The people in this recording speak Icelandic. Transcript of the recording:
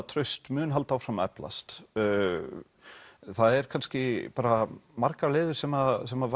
traust mun halda áfram að eflast það eru kannski margar leiðir sem sem